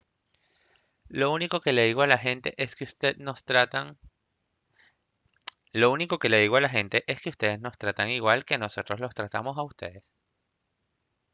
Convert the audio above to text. lo único que le digo a la gente es que ustedes nos tratan igual que nosotros los tratamos a ustedes